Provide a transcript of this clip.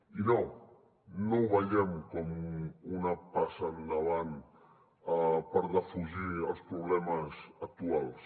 i no no ho veiem com una passa endavant per defugir els problemes actuals